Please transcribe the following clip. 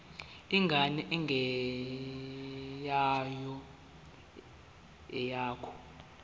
ingane engeyona eyakho